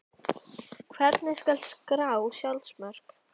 Á heiðarbrúninni fóru þau út og litu niður yfir fjörðinn.